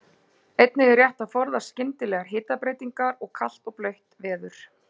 Einnig er rétt að forðast skyndilegar hitabreytingar og kalt og blautt veður.